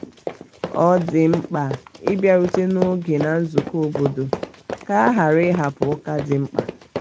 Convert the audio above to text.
ọ dị mkpa ịbiarute n'oge na nzuko obodo ka a ghara ịhapụ ụka dị mkpa.